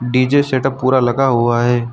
DJ setup पूरा लगा हुआ है।